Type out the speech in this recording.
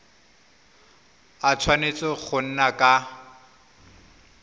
a tshwanetse go nna ka